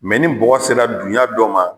ni bɔgɔ sera dunya dɔ ma